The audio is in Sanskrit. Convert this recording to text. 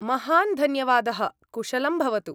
महान् धन्यवादः, कुशलं भवतु।